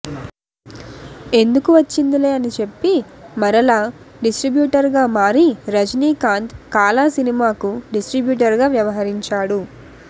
ఎందుకు వచ్చిందిలే అని చెప్పి మరలా డిస్ట్రిబ్యూటర్ గా మారి రజినీకాంత్ కాలా సినిమాకు డిస్ట్రిబ్యూటర్ గా వ్యవహరించాడు